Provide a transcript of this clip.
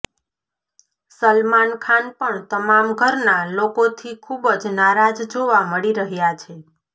સલમાન ખાન પણ તમામ ઘરના લોકોથી ખૂબ જ નારાજ જોવા મળી રહ્યા છે